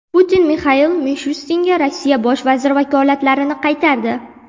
Putin Mixail Mishustinga Rossiya bosh vaziri vakolatlarini qaytardi.